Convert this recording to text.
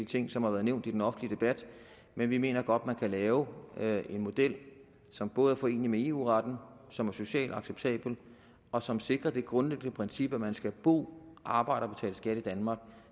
ting som har været nævnt i den offentlige debat men vi mener godt man kan lave en model som både er forenelig med eu retten og som er socialt acceptabel og som sikrer det grundliggende princip at man skal bo arbejde og betale skat i danmark